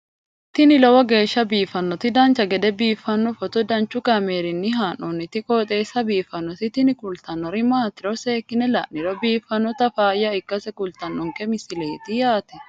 tini lowo geeshsha biiffannoti dancha gede biiffanno footo danchu kaameerinni haa'noonniti qooxeessa biiffannoti tini kultannori maatiro seekkine la'niro biiffannota faayya ikkase kultannoke misileeti yaate